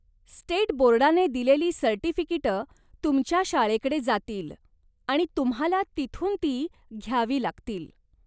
State बोर्डाने दिलेली सर्टिफिकिटं तुमच्या शाळेकडे जातील आणि तुम्हाला तिथून ती घ्यावी लागतील.